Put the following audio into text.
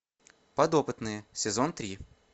подопытные сезон три